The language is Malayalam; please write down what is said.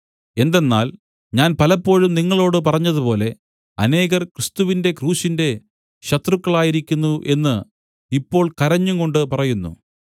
എന്തെന്നാൽ ഞാൻ പലപ്പോഴും നിങ്ങളോട് പറഞ്ഞതുപോലെ അനേകർ ക്രിസ്തുവിന്റെ ക്രൂശിന്റെ ശത്രുക്കളായിരിക്കുന്നു എന്ന് ഇപ്പോൾ കരഞ്ഞുംകൊണ്ട് പറയുന്നു